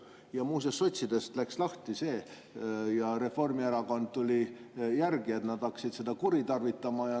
Ja muuseas sotsidest läks lahti see ja Reformierakond tuli järgi, et nad hakkasid seda kuritarvitama.